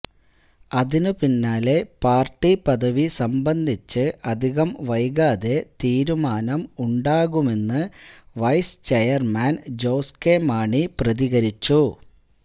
അതിന് പിന്നാലെ പാര്ട്ടി പദവി സംബന്ധിച്ച് അധികം വൈകാതെ തീരുമാനം ഉണ്ടാകുമെന്ന് vice chairman Jose K Mani പ്രതികരിച്ചു